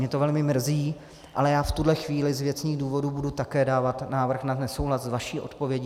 Mě to velmi mrzí, ale já v tuhle chvíli z věcných důvodů budu také dávat návrh na nesouhlas s vaší odpovědí.